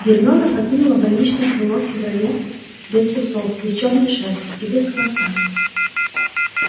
гермиона покинула больничное крыло в феврале без усов без чёрной шерсти и без хвоста